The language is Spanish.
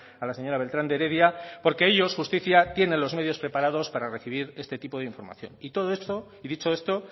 a la señora beltrán de heredia porque ellos justicia tienen los medios preparados para recibir este tipo de información y todo eso y dicho esto